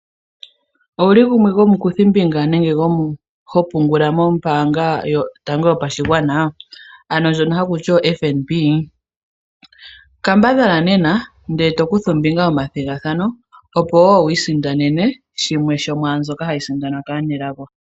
Owuli gumwe gomukuthi mbinga nenge ho pungula nombanga yotango yopashigwana? Ano ndjono hakuti oFNB? Kambadhala nena ndele to kutha ombinga moma thigathano opo wo wi isindanena yimwe yomwambyoka hayi sindanwa kaanelago.